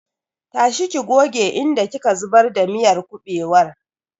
Tashi ki goge inda ki ka zubar da miyar kuɓewar!